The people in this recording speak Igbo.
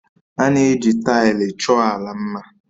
A na-eji taịlị chọọ ala mma